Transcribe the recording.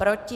Proti?